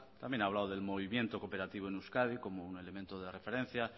también ha hablado del movimiento cooperativo en euskadi como un elemento de referencia